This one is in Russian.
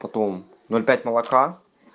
потом ноль пять молока